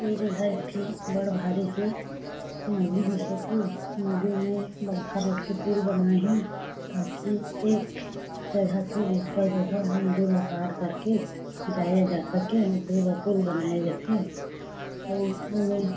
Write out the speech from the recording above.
ए जघा एक ठी बड़ भारी के नदी दिखथे नदी में बड़खा रोट के पुल बनाये हे ताकि एक जगह से दूसरा जगह नदी ला पार कर के जाया जा सके ओकरे बर पुल बनाय जाथे अउ--